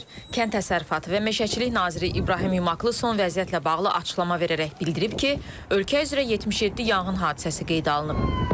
Kənd təsərrüfatı və meşəçilik naziri İbrahim Yumaklı son vəziyyətlə bağlı açıqlama verərək bildirib ki, ölkə üzrə 77 yanğın hadisəsi qeydə alınıb.